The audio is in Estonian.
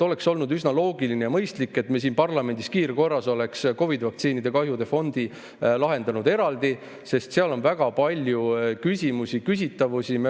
Oleks olnud üsna loogiline ja mõistlik, kui me siin parlamendis kiirkorras oleks COVID‑i vaktsiini kahjude fondi lahendanud eraldi, sest seal on väga palju küsitavusi.